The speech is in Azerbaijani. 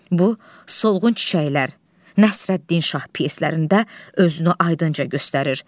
Bu, Solğun çiçəklər, Nəsrəddin Şah pyeslərində özünü aydınca göstərir.